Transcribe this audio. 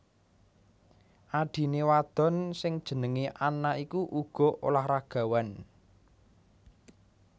Adhiné wadon sing jenengé Anna iku uga olahragawan